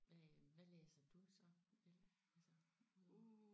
Øh hvad læser du så altså udover